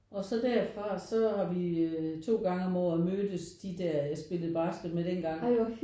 Og så derfra så har vi to gange om året mødtes de der jeg spillede basket med dengang